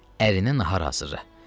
Ərinə nahar hazırla.